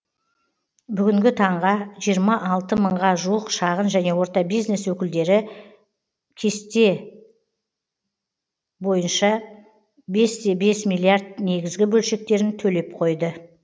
бүгінгі таңға жиырма алты мыңға жуық шағын және орта бизнес өкілдері бесте бес миллиард негізгі берешектерін төлеп қойды